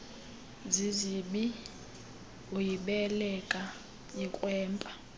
zizibi uyibeleka ikrwempa